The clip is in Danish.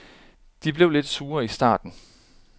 De blev lidt sure i starten.